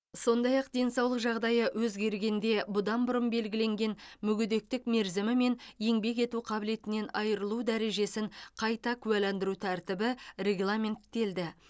сондай ақ денсаулық жағдайы өзгергенде бұдан бұрын белгіленген мүгедектік мерзімі мен еңбек ету қабілетінен айырылу дәрежесін қайта куәландыру тәртібі регламенттелді